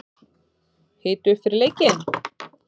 Hita upp fyrir leikinn?